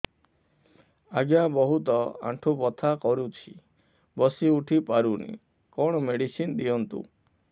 ଆଜ୍ଞା ବହୁତ ଆଣ୍ଠୁ ବଥା କରୁଛି ବସି ଉଠି ପାରୁନି କଣ ମେଡ଼ିସିନ ଦିଅନ୍ତୁ